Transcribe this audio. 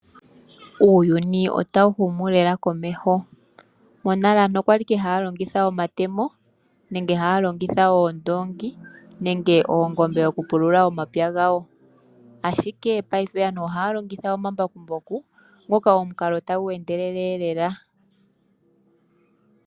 Uuyuni otawu humu lela komeho. Monale aantu okwali ike haya longitha omatemo, nenge haya longitha oondongi nenge oongombe okupulula omapya gawo. Ashike paife aantu ohaya longitha omambakumbaku ngoka omukalo tagu endelele lela.